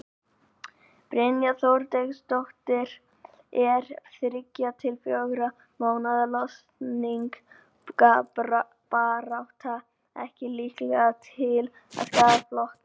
Brynja Þorgeirsdóttir: Er þriggja til fjögurra mánaða kosningabarátta ekki líkleg til að skaða flokkinn?